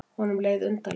Honum leið undarlega.